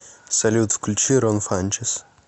салют включи рон фанчес